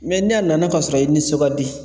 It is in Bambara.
ni a nana k'a sɔrɔ i nisɔn ka di